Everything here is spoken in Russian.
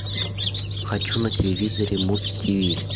хочу на телевизоре муз тиви